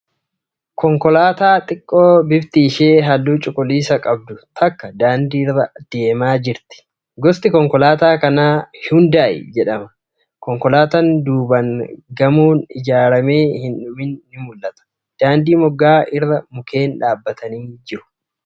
Konkolaataa xiqqoo bifti ishee halluu cuquliisa qabdu takka daandii irra deemaa jirti . Gosti konkolaataa kanaa Hayuundaay jedhama . Konkolaataa duubaan gamoon ijaaramee hin dhumin ni mul'ata. Daandii moggaa irra mukkeen dhaabbatanii jiru.